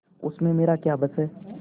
उसमें मेरा क्या बस है